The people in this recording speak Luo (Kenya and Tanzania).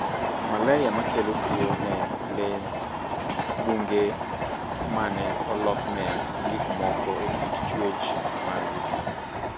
malaria makelo tuo ne lee bungu mane olokne gikmoko ekit chuech margi.